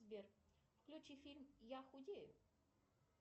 сбер включи фильм я худею